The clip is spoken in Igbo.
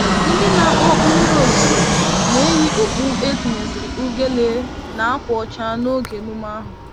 Ndị na-akpọ mmiri ozuzo na-eyi okpu etinyesịrị ugele na ákwà ọcha n'oge emume ahụ.